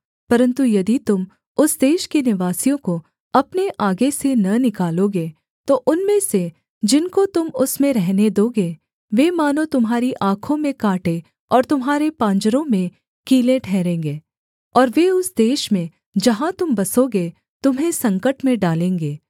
परन्तु यदि तुम उस देश के निवासियों को अपने आगे से न निकालोगे तो उनमें से जिनको तुम उसमें रहने दोगे वे मानो तुम्हारी आँखों में काँटे और तुम्हारे पांजरों में कीलें ठहरेंगे और वे उस देश में जहाँ तुम बसोगे तुम्हें संकट में डालेंगे